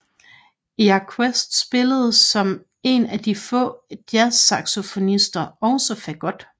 Jacquet spillede som en af de få jazzsaxofonister også Fagot